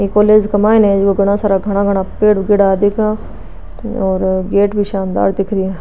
ये कॉलेज का माइन झक घणा सारा घाना घाना पेड़ उगेड़ा दिख और गेट भी सानदार दिख रहा है।